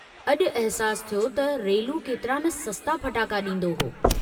अजु अहसासु थियो त रेलू केतरा न सस्ता फटाका डींदो हो।